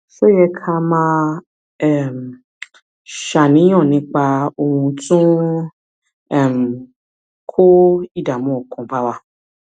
ṣé ó ó yẹ ká máa um ṣàníyàn nípa ohun tó ń um kó ìdààmú ọkàn bá wa